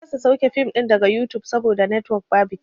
Na kasa sauke fim ɗin daga yutub saboda netwok babu kyau.